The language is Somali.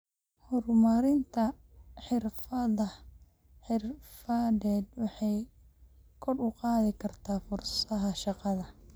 Horumarinta xirfadaha xirfadeed waxay kor u qaadi kartaa fursadaha shaqo.